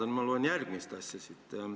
Nüüd ma loen siit järgmist asja.